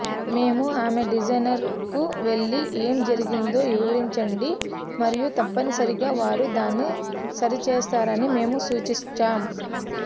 మేము ఆమె డిజైనర్కు వెళ్లి ఏమి జరిగిందో వివరించండి మరియు తప్పనిసరిగా వారు దాన్ని సరిచేస్తారని మేము సూచించాం